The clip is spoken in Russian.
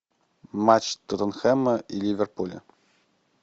матч тоттенхэма и ливерпуля